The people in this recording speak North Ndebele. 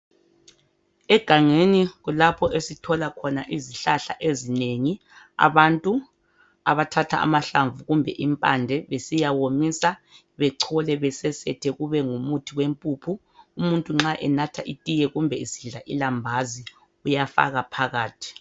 Egangeni kulapho esithola khona izihlahla ezinengi. Abantu abathatha amahlamvu kumbe impande besiyawomisa bechole besesethe kube ngumuthi wempuphu . Umuntu nxa enatha itiye kumbe esidla ilambazi uyafaka phakathi.